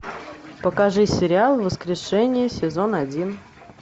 покажи сериал воскрешение сезон один